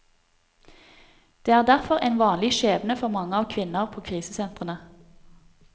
Dette er derfor en vanlig skjebne for mange av kvinnene på krisesentrene.